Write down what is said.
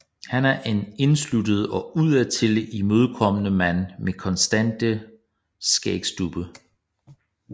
Han er en indesluttet og udadtil uimødekommende mand med konstante skægstubbe